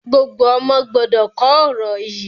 Gbogbo ọ̀mọ gbọdọ̀ kò ọ̀rọ̀ yí!